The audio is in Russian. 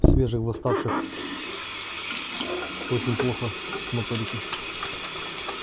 у свежих восставших очень плохо с моторикой